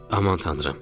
Aman tanrım!